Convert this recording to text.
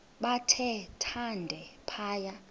bathe thande phaya